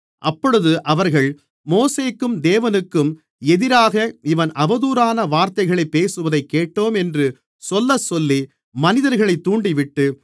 அப்பொழுது அவர்கள் மோசேக்கும் தேவனுக்கும் எதிராக இவன் அவதூறான வார்த்தைகளைப் பேசுவதைக் கேட்டோம் என்று சொல்லச்சொல்லி மனிதர்களைத் தூண்டிவிட்டு